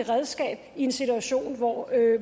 redskab i en situation hvor